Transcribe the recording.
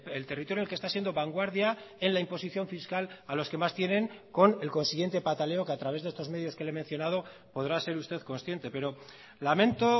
el territorio que está siendo vanguardia en la imposición fiscal a los que más tienen con el consiguiente pataleo que a través de estos medios que le he mencionado podrá ser usted consciente pero lamento